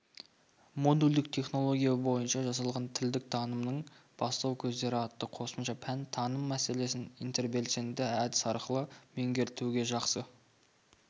модульдік технология бойынша жасалған тілдік танымның бастау көздері атты қосымша пән таным мәселесін интербелсенді әдіс арқылы меңгертуде жақсы